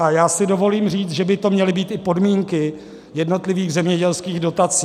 A já si dovolím říct, že by to měly být i podmínky jednotlivých zemědělských dotací.